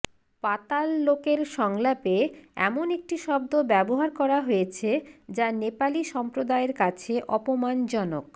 পাতাল লোকের সংলাপে এমন একটি শব্দ ব্যবহার করা হয়েছে যা নেপালি সম্প্রদায়ের কাছে অপমানজনক